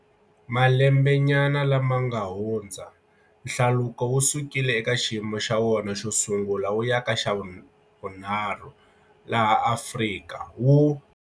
Malembenyana lama ha ku hundzaka, hlaluko wu sukile eka xiyimo xa wona xo sungula wu ya ka xa vunharhu laha Afrika, wu.